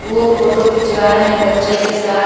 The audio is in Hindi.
वो फोटो खिचवा रहे हैं बच्चे के साथ।